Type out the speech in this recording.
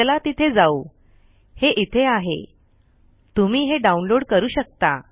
चला तिथे जाऊ हे इथे आहे तुम्ही हे डाउनलोड करू शकता